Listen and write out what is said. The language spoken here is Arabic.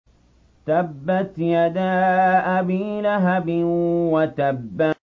تَبَّتْ يَدَا أَبِي لَهَبٍ وَتَبَّ